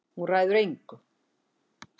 Hún ræður engu.